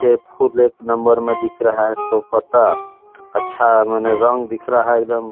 ये फूल एक नंबर में दिख रहा है सो पता अच्छा मने रंग दिख रहा है एक दम --